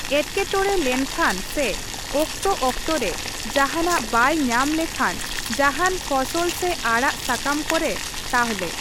ᱮᱴᱠᱮᱴᱚᱬᱮ ᱞᱮᱱᱠᱷᱟᱱ ᱥᱮ ᱚᱠᱛᱚᱼᱚᱠᱛᱚ ᱨᱮ ᱡᱟᱦᱟᱸᱱᱟᱜ ᱵᱟᱭ ᱧᱟᱢ ᱞᱮᱠᱷᱟᱱ ᱡᱟᱦᱟᱱ ᱯᱷᱚᱥᱚᱞ ᱥᱮ ᱟᱲᱟᱜ ᱥᱟᱠᱟᱢ ᱠᱚᱨᱮ ᱛᱟᱦᱞᱮ ᱾